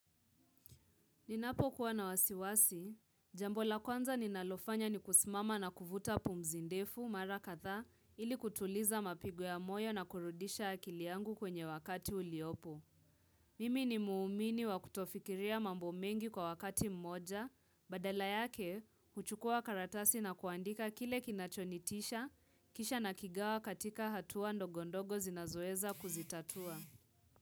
Ninapo kuwa na wasiwasi, jambo la kwanza ninalofanya ni kusimama na kuvuta pumzi ndefu mara kadhaa ili kutuliza mapigo ya moyo na kurudisha akili yangu kwenye wakati uliopo. Mimi ni muumini wa kutofikiria mambo mengi kwa wakati mmoja, badala yake, huchukua karatasi na kuandika kile kinachonitisha, kisha nakigawa katika hatua ndogo ndogo zinazoweza kuzitatua.